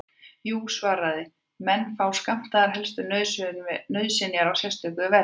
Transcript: Jú, var svarað, menn fá skammtaðar helstu nauðsynjar á sérstöku verði.